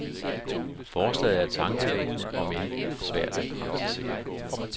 Forslaget er tankevækkende, om end svært at praktisere.